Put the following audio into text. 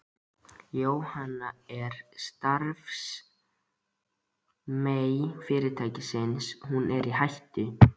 Jóhann: En starfsemi fyrirtækisins, er hún í hættu?